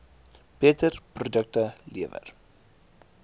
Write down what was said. beter produkte lewer